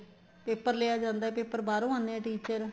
ਤੇ paper ਲਿਆ ਜਾਂਦਾ ਹੈ paper ਬਾਹਰੋ ਆਣੇ ਹੈ teacher